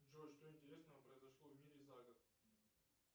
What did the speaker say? джой что интересного произошло в мире за год